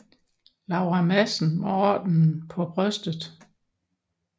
Laura Madsen med ordenen på brystet